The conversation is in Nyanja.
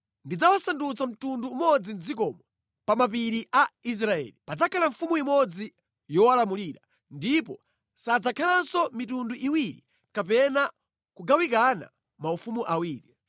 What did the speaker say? Ndidzawasandutsa mtundu umodzi mʼdzikomo, pa mapiri a Israeli. Padzakhala mfumu imodzi yowalamulira, ndipo sadzakhalanso mitundu iwiri kapena kugawikana maufumu awiri.